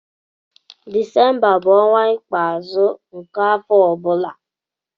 Desemba bụ ọnwa ikpeazụ nke afọ ọ bụla.